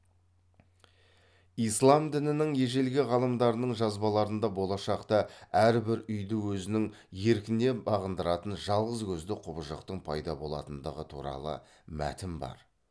ислам дінінің ежелгі ғалымдарының жазбаларында болашақта әрбір үйді өзінің еркіне бағындыратын жалғыз көзді құбыжықтың пайда болатындығы туралы мәтін бар